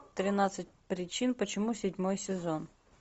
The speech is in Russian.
тринадцать причин почему седьмой сезон